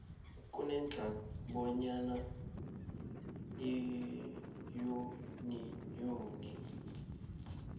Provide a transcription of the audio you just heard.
kunedlac bonyana iyuniyoni